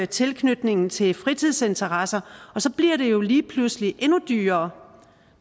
tilknytningen til fritidsinteresser og så bliver det jo lige pludselig endnu dyrere